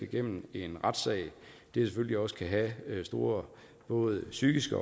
igennem en retssag selvfølgelig også kan have store både psykiske